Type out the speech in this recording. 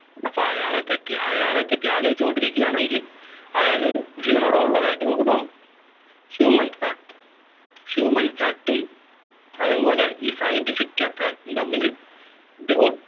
അപ്പോ അയാളെ പറ്റി അയാളെ പറ്റി ആലോചിച്ചു കൊണ്ടിരിക്കുകയാണെങ്കിൽ അയാൾ ജീവനോടെ ഉള്ളതായിട്ടു നമുക്ക് തോന്നും Human fact Human fact അതേപോലെ ഈ Scientific fact തമ്മിൽ ബി ഒ